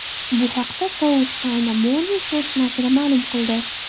Bu haqda South China Morning Post nashri ma’lum qildi .